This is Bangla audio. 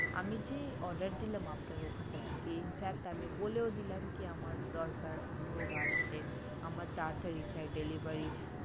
আমি যে order দিলাম আপনার ওখানটা থেকে infact আমি বলেও দিলাম কি আমার দরকার লোক আসছে আমার তাড়াতাড়ি চাই delivery